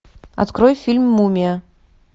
открой фильм мумия